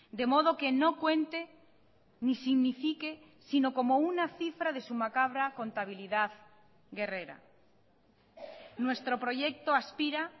de modo que no cuente ni signifique sino como una cifra de su macabra contabilidad guerrera nuestro proyecto aspira